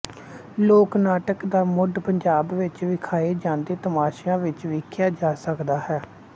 ਲੋਕ ਨਾਟਕ ਦਾ ਮੁੱਢ ਪੰਜਾਬ ਵਿੱਚ ਵਿਖਾਏ ਜਾਂਦੇ ਤਮਾਸ਼ਿਆਂ ਵਿੱਚ ਵੇਖਿਆ ਜਾ ਸਕਦਾ ਹੈ